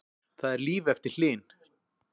Það er líf eftir Hlyn